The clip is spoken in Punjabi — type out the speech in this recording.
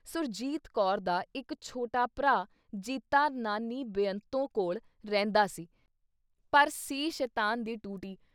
ਸੁਰਜੀਤ ਕੌਰ ਦਾ ਇੱਕ ਛੋਟਾ ਭਰਾ ਜੀਤਾ ਨਾਨੀ ਬੇਅੰਤੋ ਕੋਲ਼ ਰਹਿੰਦਾ ਸੀ ਪਰ ਸੀ ਸ਼ੈਤਾਨ ਦੀ ਟੂਟੀ।